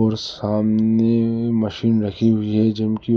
और सामने में मशीन रखी हुई है जिम की ओर--